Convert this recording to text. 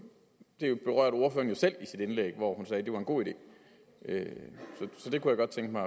selv i sit indlæg hvor hun sagde at det var en god idé så det kunne godt tænke